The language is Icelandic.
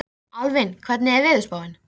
Nei, það er sama sagan með þá eins og börnin.